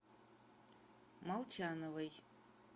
молчановой